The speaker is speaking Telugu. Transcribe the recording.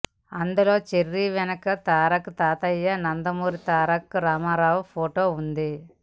అందులో చెర్రీ వెనక తారక్ తాతయ్య నందమూరి తారక రామారావు ఫొటో ఉంది